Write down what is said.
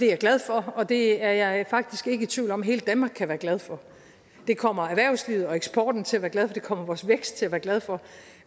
jeg glad for og det er jeg faktisk ikke i tvivl om at hele danmark kan være glad for det kommer erhvervslivet og eksporten til at være glad for og det kommer vores vækst til at være glad for